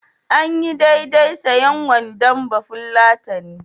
Anyi daidai sayen wandon bafulatani.